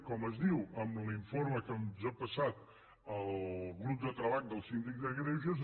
com es diu en l’informe que ens ha passat el grup de treball del síndic de greuges